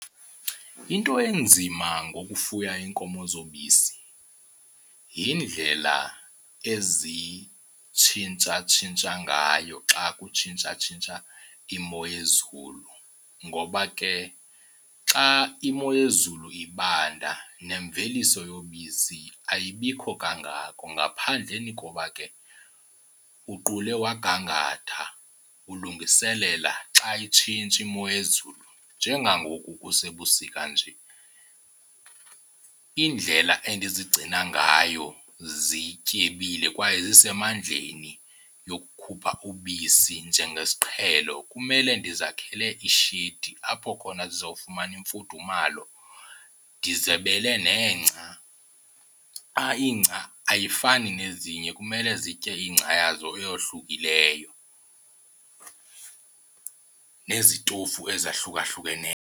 Into enzima ngokufuya iinkomo zobisi yindlela ezintshintshatshintsha ngayo xa kutshintshatshintsha imo yezulu, ngoba ke xa imo yezulu ibanda nemveliso yobisi ayibikho kangako ngaphandleni koba ke uqule wagangatha ulungiselela xa itshintsha imo yezulu. Njengangoku kusebusika nje indlela endizigcina ngayo zityebile kwaye zisemandleni yokukhupha ubisi njengesiqhelo kumele ndizakhele ishedi apho khona zizawufumana imfudumalo ndizebele nengca. Ingca ayifani nezinye, kumele zitye ingca yazo eyohlukileyo, nezitofu ezahlukahlukeneyo.